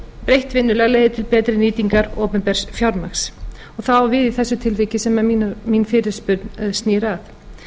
breytt vinnulag leiðir til betri nýtingar opinbers fjármagns og það á við í þessu tilviki sem mín fyrirspurn snýr að